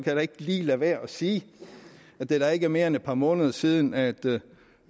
jeg ikke lige lade være at sige at det da ikke er mere end et par måneder siden at